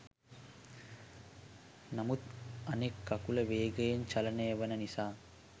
නමුත් අනෙක් කකුල වේගයෙන් චලනය වන නිසා